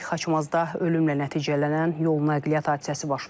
Xaçmazda ölümlə nəticələnən yol nəqliyyat hadisəsi baş verib.